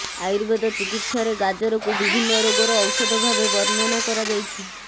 ଆୟୁବେଦ ଚିକିତ୍ସାରେ ଗାଜରକୁ ବିଭିନ୍ନ ରୋଗର ଔଷଧ ଭାବେ ବର୍ଣ୍ଣନା କରାଯାଇଛି